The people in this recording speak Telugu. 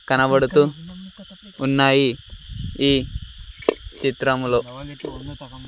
కనబడుతూ ఉన్నాయి ఈ చిత్రంలో.